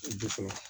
O dusu wa